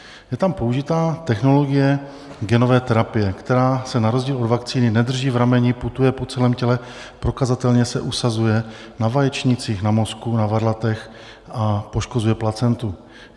Je tam použitá technologie genové terapie, která se na rozdíl od vakcíny nedrží v rameni, putuje po celém těle, prokazatelně se usazuje na vaječnících, na mozku, na varlatech a poškozuje placentu.